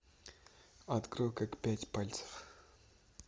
открой как пять пальцев